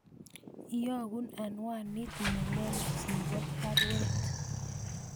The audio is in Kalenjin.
Iyogun anwanit nelelach nebo baruet